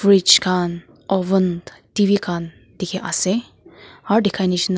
ridge khan oven T_V khan dikhi ase aro dikhai nishena--